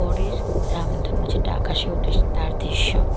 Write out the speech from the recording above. পরের রামধনু যেটা আকাশে ওঠে তার দৃশ্য।